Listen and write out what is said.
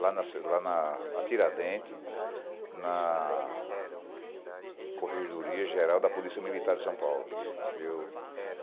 lá na ci lá na na Tiradente, na corregedoria Geral da Polícia Militar de São Paulo. Eu